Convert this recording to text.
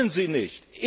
Das können Sie nicht!